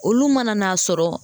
Olu mana n'a sɔrɔ.